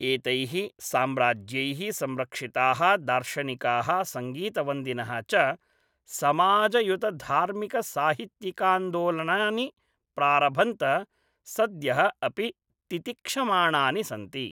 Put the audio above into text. एतैः साम्राज्यैः संरक्षिताः दार्शनिकाः सङ्गीतवन्दिनः च समाजयुतधार्मिकसाहित्यिकान्दोलनानि प्रारभन्त सद्यः अपि तितिक्षमाणानि सन्ति।